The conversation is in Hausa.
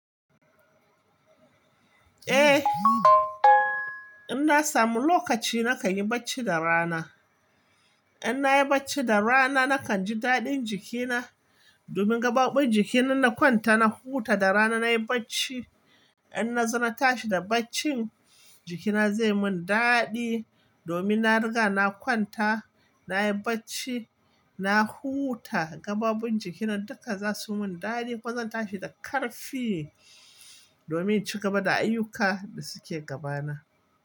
Eh, in na samu lokaci na kan yi bacci da rana. In na yi bacci da rana na kan ji daɗin jikina domin gaɓaɓɓun jikina na kwanta na huta da rana na yi bacci. In na zo na tashi da baccin jikina zai mun daɗi domin na riga na kwanta, na yi bacci, na huta gaɓaɓɓun jikina duka za su mun daɗi. Kwanan tashi da ƙarfi domin ci gaba da ayyuka da suke gabana.